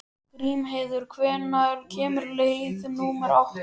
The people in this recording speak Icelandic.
Grímheiður, hvenær kemur leið númer átta?